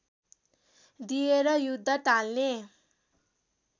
दिएर युद्ध टाल्ने